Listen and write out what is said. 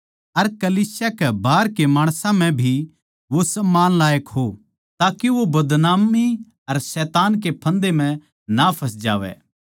अर कलीसिया के बाहर के माणसां म्ह भी वो सम्मान लायक हो ताके वो बदनामी अर शैतान कै फंदै म्ह ना फँस जावै